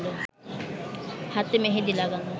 হাতে মেহেদি লাগানো